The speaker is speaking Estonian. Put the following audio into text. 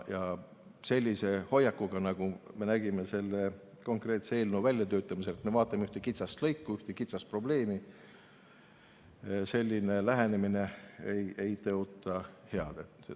Selline hoiak, nagu me selle eelnõu väljatöötamisel nägime, et vaatame ühte kitsast lõiku, ühte kitsast probleemi, selline lähenemine ei tõota head.